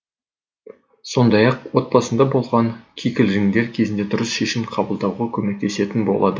сондай ақ отбасында болған кикілжіңдер кезінде дұрыс шешім қабылдауға көмектесетін болады